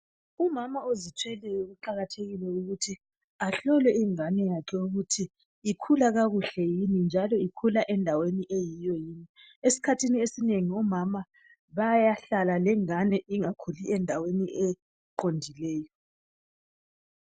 Umama ozithweleyo kuqakathekile ukuthi ahlolwe ingane yakhe ukuthi ikhula kakuhle yini .Njalo ikhula endaweni eyiyo yini. Esikhathini esinengi omama bayahlala lengane ingakhuli endaweni eqondileyo.